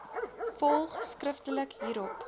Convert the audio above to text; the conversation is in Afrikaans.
volg skriftelik hierop